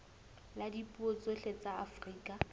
la dipuo tsohle tsa afrika